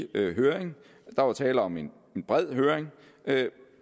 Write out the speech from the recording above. høring der var tale om en bred høring